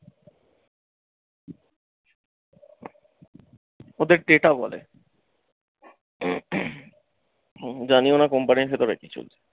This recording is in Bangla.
ওদের data বলে জানি ও না company এর সাথে অনেক কিছু।